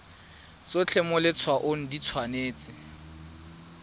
tsotlhe mo letshwaong di tshwanetse